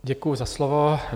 Děkuju za slovo.